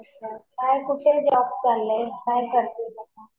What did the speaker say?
अच्छा अच्छा. काय कुठे जॉब चालू आहे. काय करतीये आता?